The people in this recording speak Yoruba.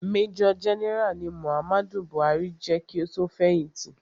Major general ni Muhammadu Buhari je ki o tó fẹ̀hìtì.